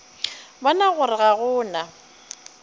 bona gore ga go na